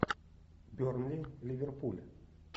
бернли ливерпуль